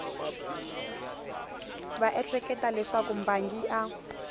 va ehleketa leswaku mbangi a